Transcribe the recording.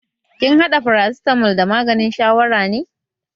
Kin haɗa farasitamol da maganin shawaran ne?